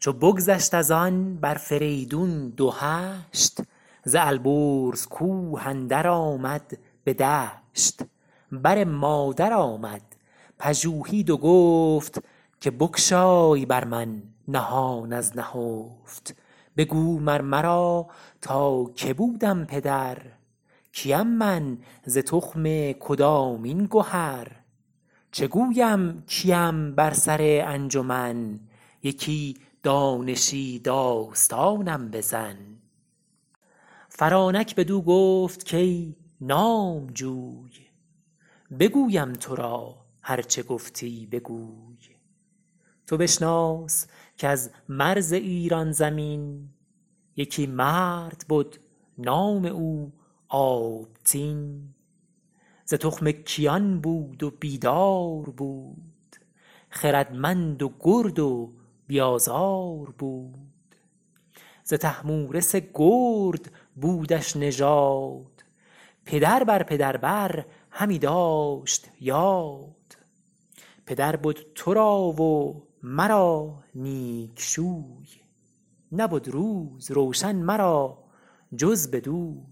چو بگذشت از آن بر فریدون دو هشت ز البرز کوه اندر آمد به دشت بر مادر آمد پژوهید و گفت که بگشای بر من نهان از نهفت بگو مر مرا تا که بودم پدر کیم من ز تخم کدامین گهر چه گویم کیم بر سر انجمن یکی دانشی داستانم بزن فرانک بدو گفت کای نامجوی بگویم تو را هر چه گفتی بگوی تو بشناس کز مرز ایران زمین یکی مرد بد نام او آبتین ز تخم کیان بود و بیدار بود خردمند و گرد و بی آزار بود ز طهمورث گرد بودش نژاد پدر بر پدر بر همی داشت یاد پدر بد تو را و مرا نیک شوی نبد روز روشن مرا جز بدوی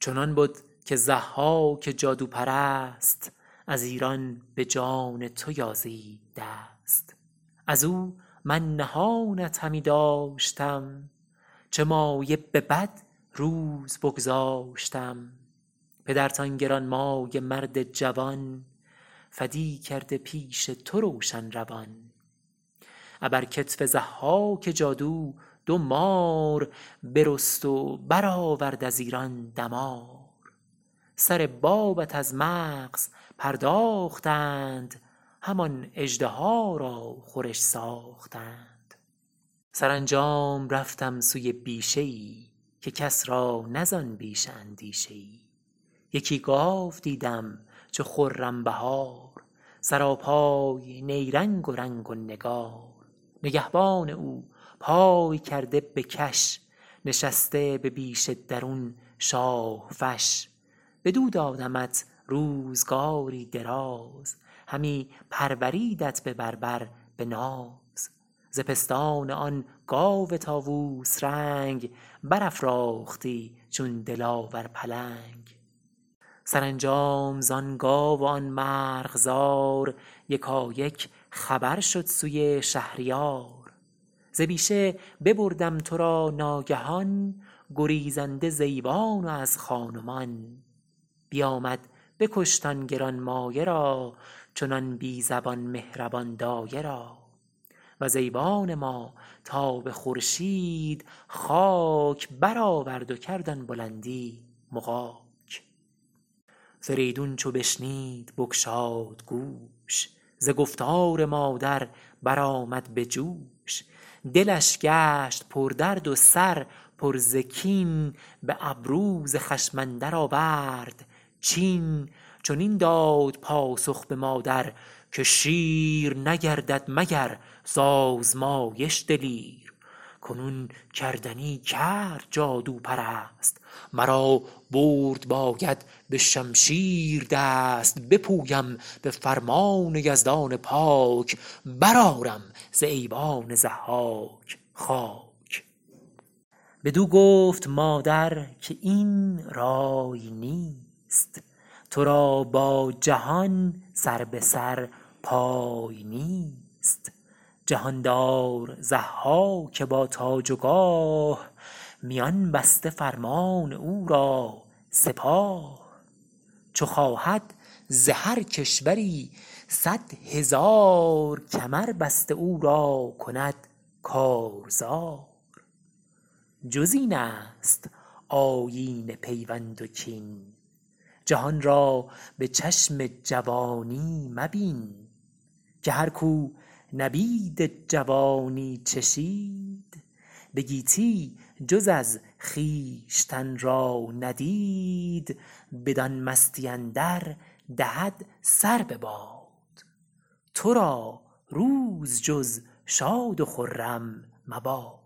چنان بد که ضحاک جادوپرست از ایران به جان تو یازید دست از او من نهانت همی داشتم چه مایه به بد روز بگذاشتم پدرت آن گرانمایه مرد جوان فدی کرده پیش تو روشن روان ابر کتف ضحاک جادو دو مار برست و برآورد از ایران دمار سر بابت از مغز پرداختند همان اژدها را خورش ساختند سرانجام رفتم سوی بیشه ای که کس را نه زآن بیشه اندیشه ای یکی گاو دیدم چو خرم بهار سراپای نیرنگ و رنگ و نگار نگهبان او پای کرده به کش نشسته به بیشه درون شاه فش بدو دادمت روزگاری دراز همی پروردیدت به بر بر به ناز ز پستان آن گاو طاووس رنگ برافراختی چون دلاور پلنگ سرانجام زآن گاو و آن مرغزار یکایک خبر شد سوی شهریار ز بیشه ببردم تو را ناگهان گریزنده ز ایوان و از خان و مان بیامد بکشت آن گرانمایه را چنان بی زبان مهربان دایه را وز ایوان ما تا به خورشید خاک برآورد و کرد آن بلندی مغاک فریدون چو بشنید بگشاد گوش ز گفتار مادر برآمد به جوش دلش گشت پردرد و سر پر ز کین به ابرو ز خشم اندر آورد چین چنین داد پاسخ به مادر که شیر نگردد مگر ز آزمایش دلیر کنون کردنی کرد جادوپرست مرا برد باید به شمشیر دست بپویم به فرمان یزدان پاک برآرم ز ایوان ضحاک خاک بدو گفت مادر که این رای نیست تو را با جهان سر به سر پای نیست جهاندار ضحاک با تاج و گاه میان بسته فرمان او را سپاه چو خواهد ز هر کشوری صدهزار کمر بسته او را کند کارزار جز این است آیین پیوند و کین جهان را به چشم جوانی مبین که هر کاو نبید جوانی چشید به گیتی جز از خویشتن را ندید بدان مستی اندر دهد سر بباد تو را روز جز شاد و خرم مباد